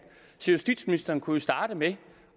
så justitsministeren kunne jo starte med